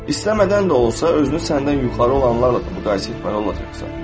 İstəmədən də olsa, özünü səndən yuxarı olanlarla da müqayisə etməli olacaqsan.